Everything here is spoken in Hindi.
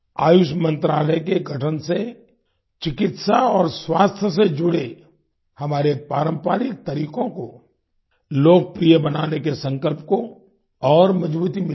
आयुष मंत्रालय के गठन से चिकित्सा और स्वास्थ्य से जुड़े हमारे पारंपरिक तरीकों को लोकप्रिय बनाने के संकल्प को और मजबूती मिली है